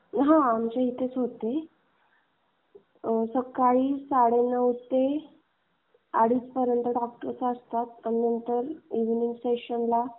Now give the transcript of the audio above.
हां, आमच्या इथेच होते. सकाळी साडेनऊ ते. अडीचपर्यंत डॉक्टर असतात आणि मग नंतर इव्हनिंग पेशन्टला चार ते दहा सें अॅवेलेबल असतात.